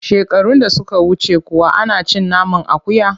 Shekarun da suka wuce kuwa ana cin naman akuya?